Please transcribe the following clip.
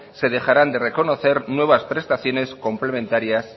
se dejarán de reconocer nuevas prestaciones complementarias